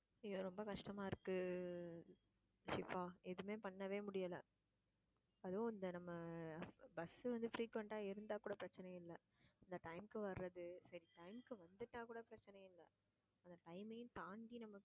இங்க ரொம்ப கஷ்டமா இருக்கு. ஷிபா எதுவுமே பண்ணவே முடியல. அதுவும் இந்த நம்ம bus வந்து frequent ஆ இருந்தா கூட பிரச்சனை இல்லை இந்த time க்கு வர்றது time க்கு வந்துட்டா கூட பிரச்சனை இல்லை அந்த time யும் தாண்டி நமக்கு